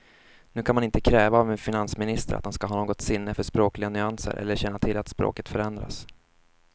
Nu kan man inte kräva av en finansminister att han ska ha något sinne för språkliga nyanser eller känna till att språket förändrats.